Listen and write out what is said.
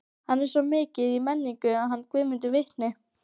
Hann er svo mikið í menningunni, hann Guðmundur vitni.